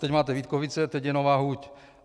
Teď máte Vítkovice, teď je Nová huť.